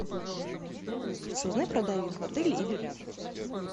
алиса узнай про дайвинг в отеле или рядом